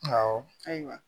Awɔ ayiwa